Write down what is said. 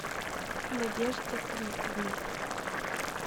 надежде рифовне